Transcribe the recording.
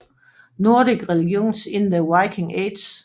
Nordic Religions in the Viking Age